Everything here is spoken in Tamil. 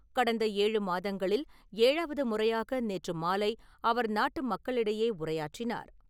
கடந்த ஏழு மாதங்களில் ஏழாவது முறையாக நேற்று மாலை அவர் நாட்டு மக்களிடையே உரையாற்றினார்.